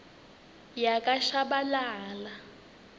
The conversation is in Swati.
yakashabalala